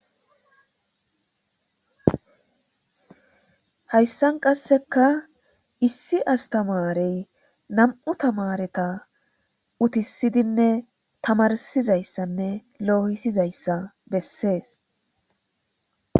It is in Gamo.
hayssan qasseka issi astamarey nam7u tamareta utisidinne tamarsizayssanne loohisizayssa bessees